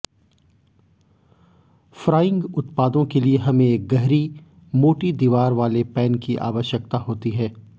frying उत्पादों के लिए हमें एक गहरी मोटी दीवार वाले पैन की आवश्यकता होती है